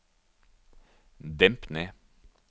demp ned